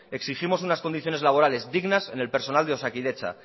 exigimos unas condiciones laborares dignas en el personal de osakidetza